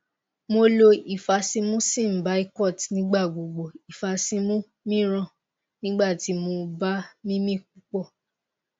mo lo ifasimu symbicort nigba gbogbo ifasimu miiran nigba ti mo ba mimi pupọ